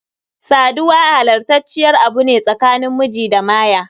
Sadiwa halastaciyar Abu ne tsakanin miji da Maya.